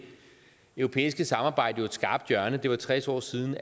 europæiske samarbejde jo et skarpt hjørne det var tres år siden